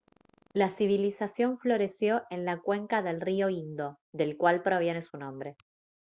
la civilización floreció en la cuenca del río indo del cual proviene su nombre